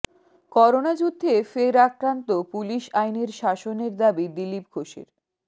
corona যুদ্ধে ফের আক্রান্ত পুলিশ আইনের শাসনের দাবি দিলীপ ঘোষের